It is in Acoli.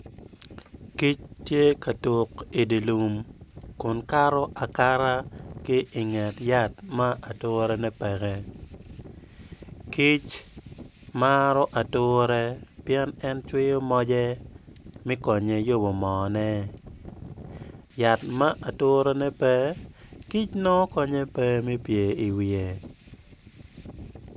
Kic tye ka tuk idye lum kun kato akata ki inget yat ma aturene peke kic maro ature pien cwiyo moce me konye yubo moone yat ma aturene pe kic nongo konye peke me pye iwiye.